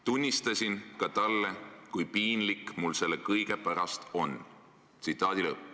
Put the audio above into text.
Tunnistasin ka talle, kui piinlik mul selle kõige pärast on.